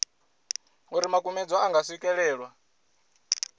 uri makumedzwa a nga swikelelwa